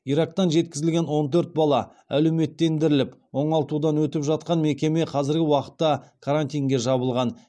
ирактан жеткізілген он төрт бала әлеуметтендіріліп оңалтудан өтіп жатқан мекеме қазіргі уақытта карантинге жабылған